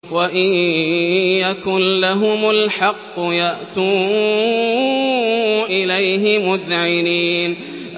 وَإِن يَكُن لَّهُمُ الْحَقُّ يَأْتُوا إِلَيْهِ مُذْعِنِينَ